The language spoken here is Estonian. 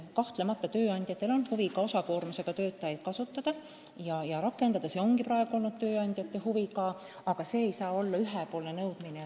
Kahtlemata on tööandjatel huvi ka osakoormusega töötajaid rakendada, aga see ei saa sündida ühe poole nõudmisel.